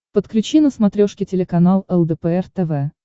подключи на смотрешке телеканал лдпр тв